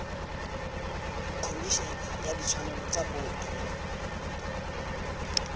khomišene ya ditshwanelo tsa botho